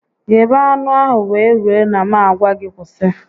Ghebe anụ ahụ wee rue na m a gwa gị kwụsị